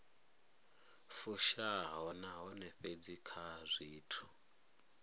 fushaho nahone fhedzi kha zwithu